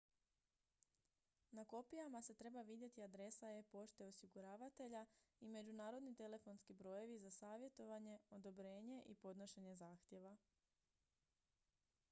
na kopijama se treba vidjeti adresa e-pošte osiguravatelja i međunarodni telefonski brojevi za savjetovanje/odobrenje i podnošenje zahtjeva